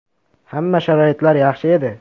Hamma sharoitlari yaxshi edi.